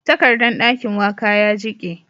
Takardan dakin waka ya jike